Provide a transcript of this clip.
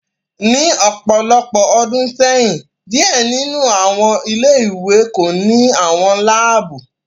Ni ọpọlọpọ ọdun sẹyin, diẹ ninu awọn ile-iwe ko ni awọn laabu